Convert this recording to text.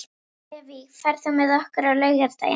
Levý, ferð þú með okkur á laugardaginn?